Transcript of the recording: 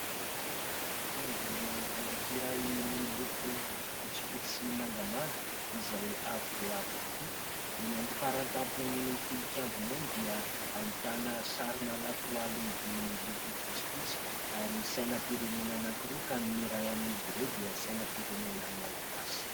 Fiangonana anankiray miloko fotsifotsy sy mangamanga izay avo dia avo tokoa. Eny amin'ny fara-tampon'ny tilikambony eny dia ahitana sarina lakroa lehibe miloko fotsifotsy ary sainam-pirenena anankiroa ka ny iray amin'izy ireo dia sainam-pirenena malagasy.